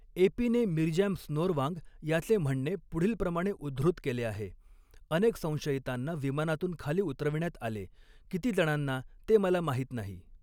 एपीने Mirjam Snoarvang याचे म्हणणे पुढीलप्रमाणे उद्धृत केले आहे. अनेक संशयितांना विमानातून खाली उतरविण्यात आले, कितीजणांना ते मला माहीत नाही.